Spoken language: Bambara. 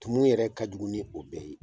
Tumu yɛrɛ ka jugu ni o bɛɛ ye.